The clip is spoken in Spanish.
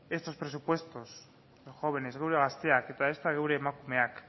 estos presupuestos los jóvenes gure gazteak eta ezta gure emakumeak